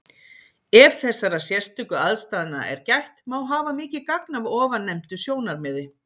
Ef þessara sérstöku aðstæðna er gætt, má hafa mikið gagn af ofannefndu sjónarmiði.